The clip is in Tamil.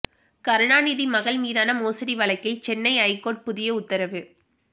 கருணாநிதி மகள் மீதான மோசடி வழக்கில் சென்னை ஐகோர்ட் புதிய உத்தரவு